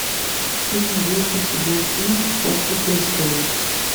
ты найдешь у себя фильм после престолов